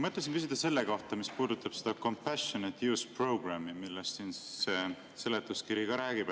Mõtlesin küsida selle kohta, mis puudutab seda compassionate use programme'i, millest seletuskiri räägib.